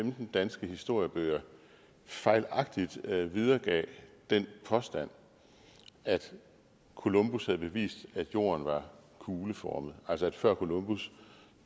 femten danske historiebøger fejlagtigt videregav den påstand at columbus havde bevist at jorden var kugleformet altså at mennesker før columbus